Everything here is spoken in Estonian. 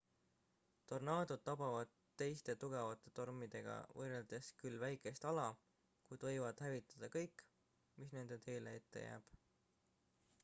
tornaadod tabavad teiste tugevate tormidega võrreldes küll väikest ala kuid võivad hävitada kõik mis nende teele ette jääb